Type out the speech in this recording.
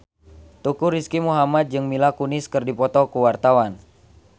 Teuku Rizky Muhammad jeung Mila Kunis keur dipoto ku wartawan